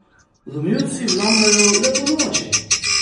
Vlomilci vlamljajo le ponoči?